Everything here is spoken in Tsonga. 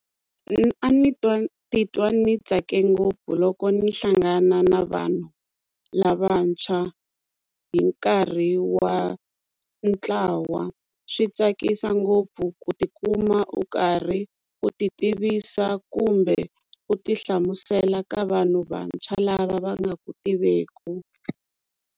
A ni twa titwa ni tsake ngopfu loko ni hlangana na vanhu lavantshwa hi nkarhi wa ntlawa swi tsakisa ngopfu ku tikuma u karhi u ti tivisa kumbe u ti hlamusela ka vanhu vantshwa lava va nga ku tiveki.